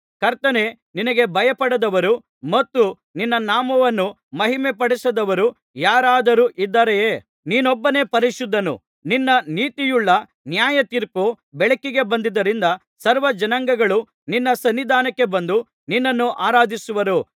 ಕರ್ತನೇ ನಿನಗೆ ಭಯಪಡದವರು ಮತ್ತು ನಿನ್ನ ನಾಮವನ್ನು ಮಹಿಮೆ ಪಡಿಸದವರು ಯಾರಾದರು ಇದ್ದಾರೆಯೇ ನೀನೊಬ್ಬನೇ ಪರಿಶುದ್ಧನು ನಿನ್ನ ನೀತಿಯುಳ್ಳ ನ್ಯಾಯತೀರ್ಪು ಬೆಳಕಿಗೆ ಬಂದುದರಿಂದ ಸರ್ವಜನಾಂಗಗಳು ನಿನ್ನ ಸನ್ನಿಧಾನಕ್ಕೆ ಬಂದು ನಿನ್ನನ್ನು ಆರಾಧಿಸುವರು